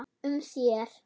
um sér.